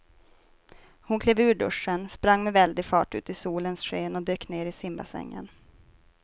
Hon klev ur duschen, sprang med väldig fart ut i solens sken och dök ner i simbassängen.